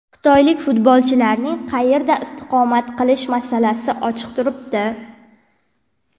Xitoylik futbolchilarning qayerda istiqomat qilishi masalasi ochiq turibdi.